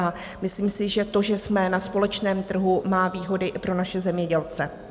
A myslím si, že to, že jsme na společném trhu, má výhody i pro naše zemědělce.